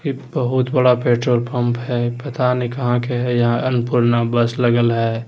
ये बहुत बड़ा पेट्रोल पंप है पता नहीं कहां के है यहाँ अन्नपूर्णा बस लगल है।